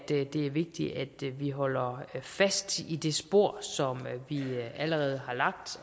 det er vigtigt at vi holder fast i det spor som vi allerede har lagt